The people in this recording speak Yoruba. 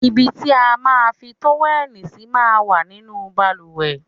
Ibi tí a máa ń fi tówẹ́lì sí máa ń wà nínú bàlùwẹ̀.